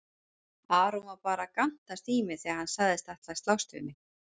Aron var bara að gantast í mér þegar hann sagðist ætla að slást við mig.